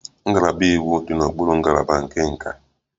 Ngalaba iwu dị n'okpuru ngalaba nke nka